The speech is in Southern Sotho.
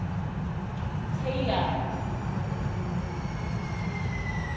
tailor